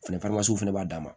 Fɛnɛ fana b'a dan ma